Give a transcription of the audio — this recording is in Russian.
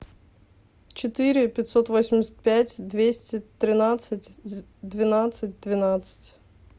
четыре пятьсот восемьдесят пять двести тринадцать двенадцать двенадцать